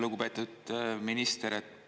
Lugupeetud minister!